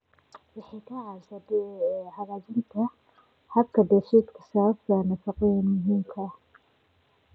Waxay ka caawisaa hagaajinta habka dheefshiidka sababtoo ah nafaqooyinka muhiimka ah.